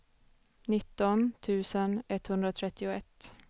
nitton tusen etthundratrettioett